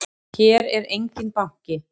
Hér er enginn banki!